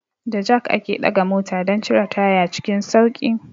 Da jak ake ɗaga mota don cire taya cikin sauƙi.